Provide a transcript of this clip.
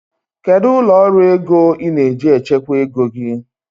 Kedu ụlọ ọrụ ego ị na-eji echekwa ego gị?